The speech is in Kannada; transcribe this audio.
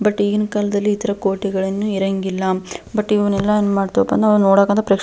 ಬಟ್ ಈಗಿನ ಕಾಲದಲ್ಲಿ ಈ ತರ ಕೋಟೆಗಳನ್ನು ಇರಂಗಿಲ್ಲ ಬಟ್ ಇವನ್ನೆಲ್ಲ ಏನ್ ಮಾಡ್ಬೇಕಪ್ಪ ಅಂತಂದ್ರೆ ನಾವು ನೋಡಕ್ ಅಂತ--